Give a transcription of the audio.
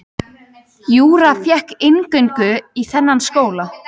Júra fékk inngöngu í þennan skóla.